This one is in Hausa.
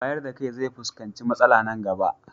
wayardakai zefuskanci matsala Nan gaba